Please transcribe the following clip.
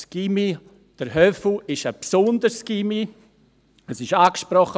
Der «Höfu» ist ein besonderes Gymnasium, es wurde angesprochen.